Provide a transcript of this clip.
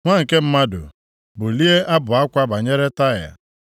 “Nwa nke mmadụ, bulie abụ akwa banyere Taịa,